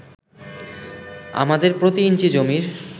আমাদের প্রতি ইঞ্চি জমির